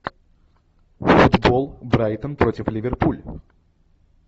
футбол брайтон против ливерпуль